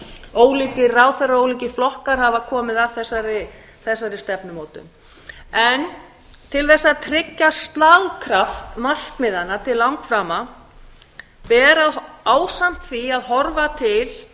ólíkir ráðherra og ólíkir flokkar hafa komið að þessari stefnumótun en til að tryggja slagkraft markmiðanna til langframa ber ásamt því að horfa til